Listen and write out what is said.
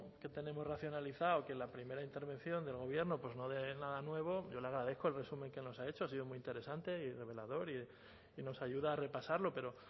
que tenemos racionalizado que en la primera intervención del gobierno no dé nada nuevo yo le agradezco el resumen que nos ha hecho ha sido muy interesante y revelador y nos ayuda a repasarlo pero